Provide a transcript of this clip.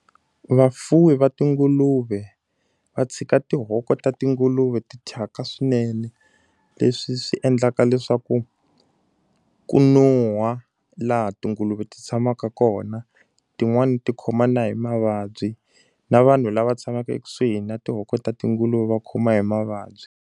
Vafuwi va tinguluve va tshika tihoko ta tinguluve ti thyaka swinene. Leswi swi endlaka leswaku ku no huhwa laha tinguluve ti tshamaka kona, tin'wani ti khoma na hi mavabyi. Na vanhu lava tshamaka ekusuhi na tihoko ta tinguluve va khoma hi mavabyi.